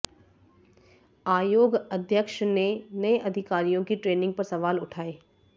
आयोग अध्यक्ष ने नए अधिकारियों की ट्रेनिंग पर सवाल उठाए